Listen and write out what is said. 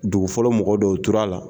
Dugu fɔlɔ mɔgɔ dɔw o tora la.